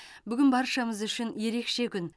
бүгін баршамыз үшін ерекше күн